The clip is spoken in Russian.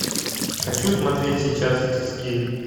хочу смотреть сейчас тиски